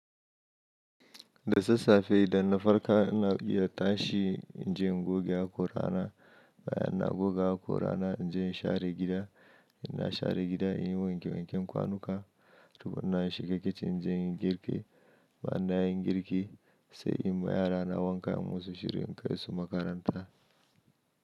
Da sassafe idan na farka ina iya ta shi, in je goge haƙora na, bayan na goga haƙora na in je in share gida, in na share gida in yi wanke wanken kwanuka, tukuna in shiga kicin in je in yi girki, bayan na yi girki sai in ma yarana wanka in musu shirin kai su makaranta.